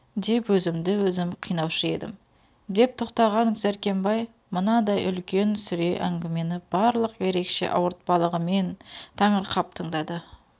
деп өзімді-өзім қинаушы едім деп тоқтаған дәркембай мынадай үлкен сүре әңгімені барлық ерекше ауыртпалығымен таңырқап тыңдады